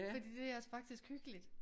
Fordi det er altså faktisk hyggeligt